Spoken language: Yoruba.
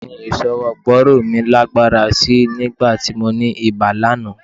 Ṣe ni ìṣọwọ́ gbóòórùn mi lágbára sí í nígbà tí mo ní ibà lánàá